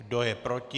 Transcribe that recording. Kdo je proti?